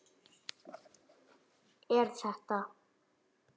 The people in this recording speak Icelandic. Er þetta.